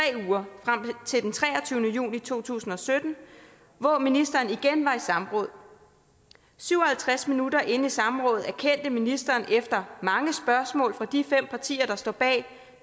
uger frem til den treogtyvende juni to tusind og sytten hvor ministeren igen var i samråd syv og halvtreds minutter inde i samrådet erkendte ministeren efter mange spørgsmål fra de fem partier der står bag